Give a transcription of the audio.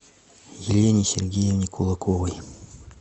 елене сергеевне кулаковой